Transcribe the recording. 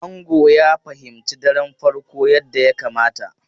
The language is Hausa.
Ango ya fahimci daren farko yadda ya kamata.